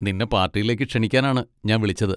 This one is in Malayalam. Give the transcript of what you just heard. നിന്നെ പാർട്ടിയിലേക്ക് ക്ഷണിക്കാനാണ് ഞാൻ വിളിച്ചത്.